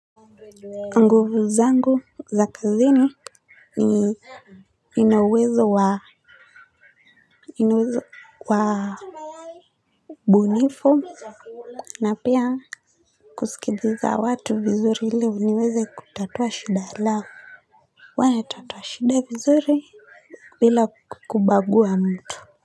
Nguvu zangu za kazini ni nina uwezo wa nina uwezo wa ubunifu na pia kusikiliza watu vizuri ili niweze kutatua shinda langu huwanatatua shida vizuri bila kubagua mtu.